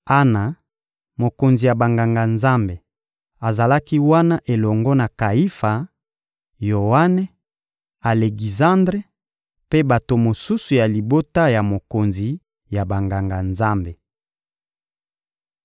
Ana, mokonzi ya Banganga-Nzambe, azalaki wana elongo na Kayifa, Yoane, Alekizandre mpe bato mosusu ya libota ya mokonzi ya Banganga-Nzambe.